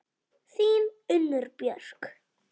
Þín, Unnur Björk.